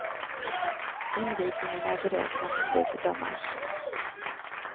Invigningen är beräknad till slutet av mars.